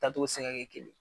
Taa togo ti se ka kɛ kelen ye.